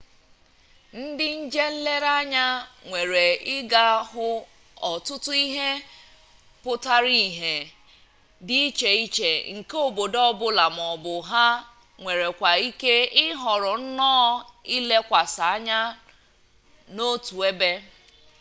ndi nje-nlere-anya nwere iga hu otutu ihe putara ihe di iche-iche nke obodo obula maobu ha nwerekwara ike ihoro nnoo ilekwasi anya n'otu ebe